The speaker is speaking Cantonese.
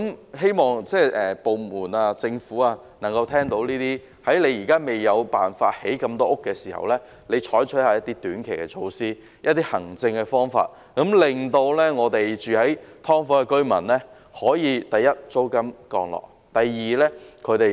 我希望政府部門能夠聽到這些建議，在未有辦法興建足夠房屋前，採取一些短期措施或行政方法，令居於"劏房"的居民可以，第一，租金下降；第二，有一個比較安全的居所。